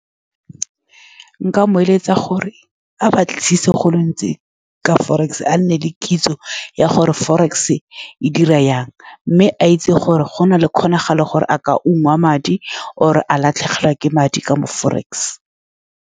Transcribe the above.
Nka mo eletsa gore a batlisise golo gontsi ka forex, a nne le kitso ya gore forex e dira jang, mme a itse gore go na le kgonagalo gore a ka ungwa madi, kgotsa a latlhegelwa ke madi ka mo forex.